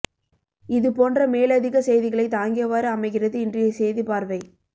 இது போன்ற மேலதிக செய்திகளை தாங்கியவாறு அமைகிறது இன்றைய செய்தி பார்வை